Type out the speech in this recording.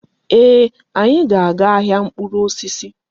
Ee! Anyị ga-aga ahịa mkpụrụ osisi.